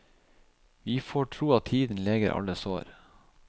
Vi får tro at tiden leger alle sår.